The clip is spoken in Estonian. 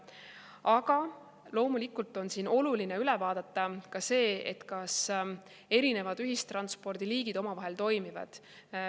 Aga loomulikult on oluline üle vaadata ka see, kas erinevad ühistranspordiliigid omavahel koos toimivad.